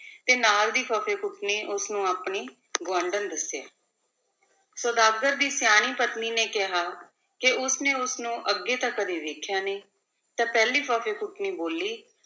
ਤੇ ਨਾਲ ਦੀ ਫੱਫੇਕੁੱਟਣੀ ਉਸ ਨੂੰ ਆਪਣੀ ਗੁਆਂਢਣ ਦੱਸਿਆ ਸੁਦਾਗਰ ਦੀ ਸਿਆਣੀ ਪਤਨੀ ਨੇ ਕਿਹਾ ਕਿ ਉਸ ਨੇ ਉਸਨੂੰ ਅੱਗੇ ਤਾਂ ਕਦੇ ਵੇਖਿਆ ਨਹੀਂ, ਤਾਂ ਪਹਿਲੀ ਫੁੱਫੇਕੁਟਣੀ ਬੋਲੀ